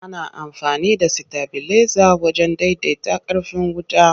Ana amfani da sitabileza wajen daidaita ƙarfin wuta.